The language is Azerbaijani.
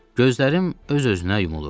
Gözlərim öz-özünə yumulurdu.